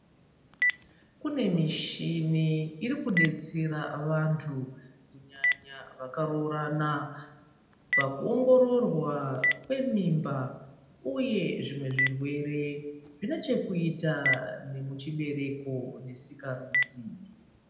Kune mishini iri kudetsera vantu kunyanya vaka roorana paku ongororwa kwe mimba uye zvimwe zvirwere zvine chekuita kuchi bereko ne sikarudzi.